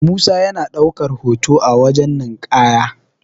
musa yana daukar hoto a wajen ninkaya